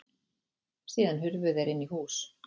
Síðan hurfu þeir inn í hús.